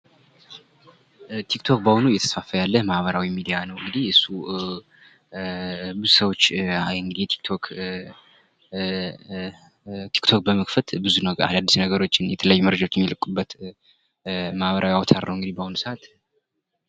ቲክቶክ በአሁኑ እየተስፋፋ ያለ ማህበራዊ ሚዲያ ነው እንግዲህ እሱ ብዙ ሰዎች የቲክቶክ በመክፈት አድስ ነገሮችን የተለያዩ መረጃዎችን የሚልቁበት ማህበራዊ አውታር ነው እንግዲህ በአሁኑ ሰከት።